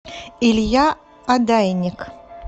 илья одайник